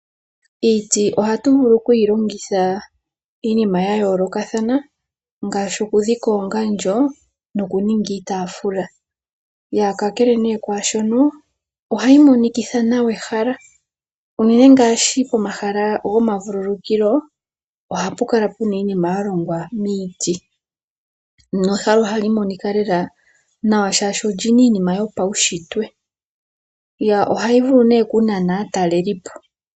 Iiti ohatu vulu okuyi longitha iinima yayoolokathana ngaashi okudhika oongandjo nokuninga iitaafula. Kakele nee kwaashoka ohayi monikitha nawa ehala. Uunene ngaashi pomahala gomavululukilo ohapu kala puna iinima yalongwa miiti nehala ohali monika nawa shaashi olyina iinima yopawushitwe mbyoka hayi vulu okunana aatalelipo.